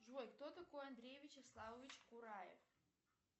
джой кто такой андрей вячеславович кураев